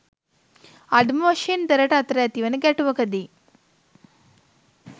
අඩුම වශයෙන් දෙරට අතර ඇති වන ගැටුවකදී